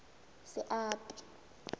seapi